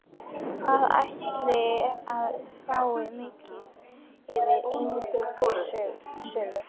Hvað ætliði að fá mikið fyrir eignasölu?